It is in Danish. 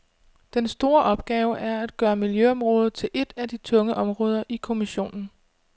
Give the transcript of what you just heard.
Den store opgave er at gøre miljøområdet til et af de tunge områder i kommissionen.